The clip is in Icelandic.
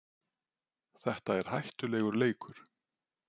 Þetta er hættulegur leikur